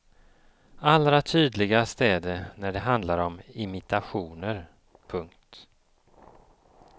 Allra tydligast är det när det handlar om imitationer. punkt